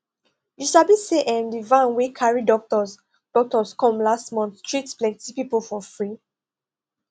you sabi say um di van wey carry doctors doctors come last month treat plenty people for free